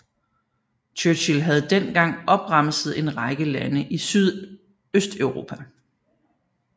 Churchill havde dengang opremset en række lande i Sydøsteuropa